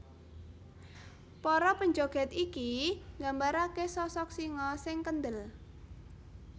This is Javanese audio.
Para panjogèd iki nggambaraké sosok singa sing kendel